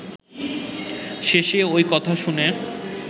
শেষে ঐ কথা শুনে